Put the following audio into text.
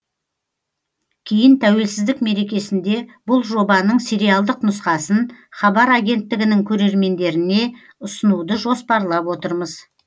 кейін тәуелсіздік мерекесінде бұл жобаның сериалдық нұсқасын хабар агенттігінің көрермендеріне ұсынуды жоспарлап отырмыз